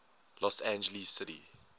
los angeles city